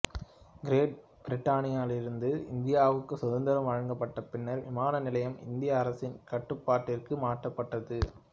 great பிரிட்டனிலிருந்து இந்தியாவுக்குச் சுதந்திரம் வழங்கப்பட்ட பின்னர் விமானநிலையம் இந்திய அரசின் கட்டுப்பாட்டிற்கு மாற்றப்பட்டது